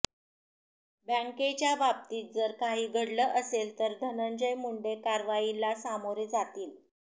बँकेच्या बाबतीत जर काही घडलं असेल तर धनंजय मुंडे कारवाईला सामोरे जातील